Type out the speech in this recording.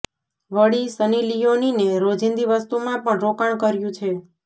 વળી સની લિયોનીને રોજિંદી વસ્તુમાં પણ રોકાણ કર્યું છે